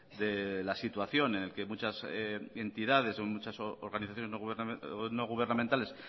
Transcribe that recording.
de la situación en la que muchas entidades o muchas organizaciones no gubernamentales